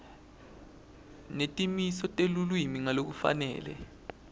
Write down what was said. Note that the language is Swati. netimiso telulwimi ngalokufanele